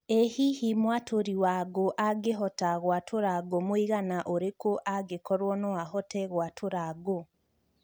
ĩ hihi mwatũri wa ngũ angĩhota gũatura ngũ mũigana ũrikũ angĩkorwo no ahote gũatura ngũ